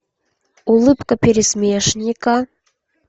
улыбка пересмешника